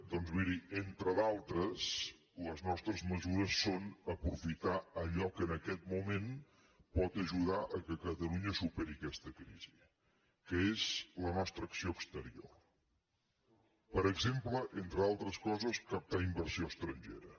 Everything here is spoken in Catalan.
doncs miri entre d’altres les nostres mesures són aprofitar allò que en aquest moment pot ajudar que catalunya superi aquesta crisi que és la nostra acció exterior per exemple entre altres coses captar inversió estrangera